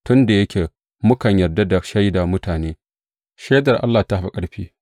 Tun da yake mukan yarda da shaida mutane, ai, shaidar Allah ta fi ƙarfi.